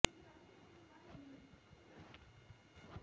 পুলৱামা ঘটনাৰ বিৰুদ্ধে প্ৰতিবাদ সাব্যস্তৰে সৰ্বভাৰতীয় ব্যৱসায়ী সংস্থাৰ এই আহ্বান